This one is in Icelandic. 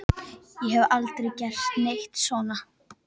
Ég hef aldrei gert neitt svona.